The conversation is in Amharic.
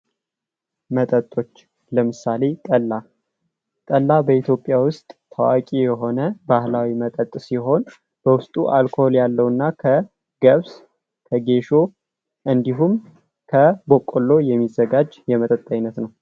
መጠጦች ለምሳሌ ጠላ ጠላ በኢትዮጵያ ውስጥ ታዋቂ የሆነው ባህላዊ መጠጥ ሲሆን በውስጡ አልኮል ያለውና ከገብስ ከጌሾ እንዲሁም ከበቆሎ የሚዘጋጅ የመጠጥ አይነት ነው።